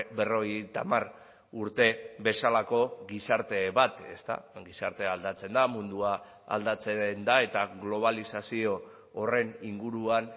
berrogeita hamar urte bezalako gizarte bat ezta gizartea aldatzen da mundua aldatzen da eta globalizazio horren inguruan